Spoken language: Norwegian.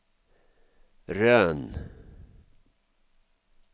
Røn